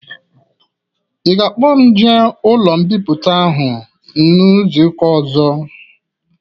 Ị ga-akpọ m jee ụlọ mbipụta ahụ n'izuka ozo?